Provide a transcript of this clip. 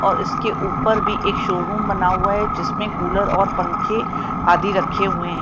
और इसके ऊपर भी एक शोरूम बना हुआ है जिसमें कूलर और पंखे आदि रखे हुए है।